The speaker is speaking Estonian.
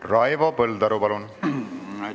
Raivo Põldaru, palun!